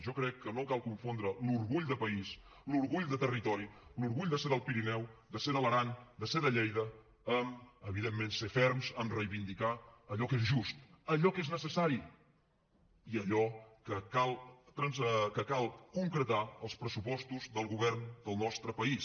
jo crec que no cal confondre l’orgull de país l’orgull de territori l’orgull de ser del pirineu de ser de l’aran de ser de lleida amb evidentment ser ferms en reivindicar allò que és just allò que és necessari i allò que cal concretar als pressupostos del govern del nostre país